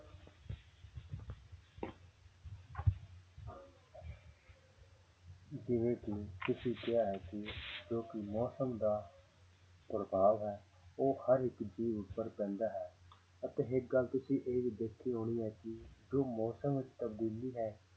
ਜਿਵੇਂ ਕਿ ਤੁਸੀਂ ਕਿਹਾ ਹੈ ਕਿ ਜੋ ਕਿ ਮੌਸਮ ਦਾ ਪ੍ਰਭਾਵ ਹੈ ਉਹ ਹਰ ਇੱਕ ਜੀਵ ਉੱਪਰ ਪੈਂਦਾ ਹੈ ਅਤੇ ਇੱਕ ਤੁਸੀਂ ਇਹ ਦੇਖੀ ਹੋਣੀ ਹੈ ਕਿ ਜੋ ਮੌਸਮ ਵਿੱਚ ਤਬਦੀਲੀ ਹੈ